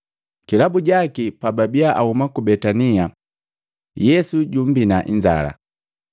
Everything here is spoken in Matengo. Kilabu jaki, pababia ahuma ku Betania, Yesu jummbina inzala.